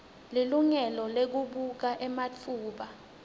lilungelo lekubuka ematfuba